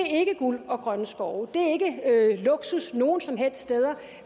guld og grønne skove det er ikke luksus nogen som helst steder